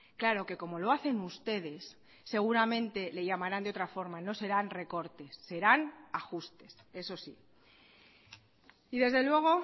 claro que como lo hacen ustedes seguramente le llamarán de otra forma no serán recortes serán ajustes eso sí y desde luego